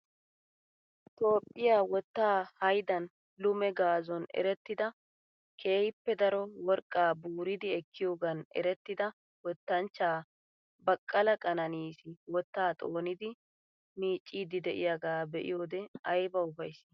Toophphiya wottaa hayddan lume gazon erettida keehiippe daro worqqaa buuridi ekkiyoogan erettida wottanchchaa Baqala Kananis wottaa xoonidi miiccid de'iyaaga be'iyode aybba ufayssi.